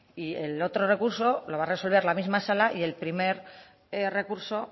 y el otro recurso lo va a resolver la misma sala y el primer recurso